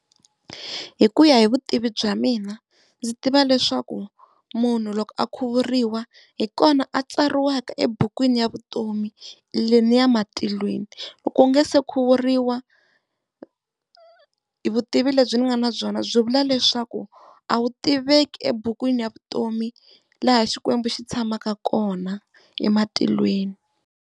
Hi ku ya hi vutivi bya mina ndzi tiva leswaku munhu loko a khuvuriwa hi kona a tsariwaka ebukwini ya vutomi leniya matilweni. Loko u nga se khuvuriwa vutivi lebyi ni nga na byona byi vula leswaku a wu tiveki ebukwini ya vutomi laha Xikwembu xi tshamaka kona ematilweni.